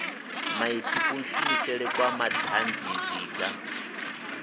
maipfi kushumisele kwa madanzi zwiga